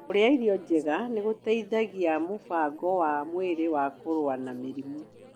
Kũrĩa irio njega nĩ gũteithagia mũbango wa mwĩrĩ wa kũrũa na mĩrimũ